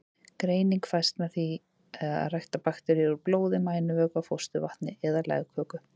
Greining fæst með ræktun bakteríunnar úr blóði, mænuvökva, fósturvatni eða legköku.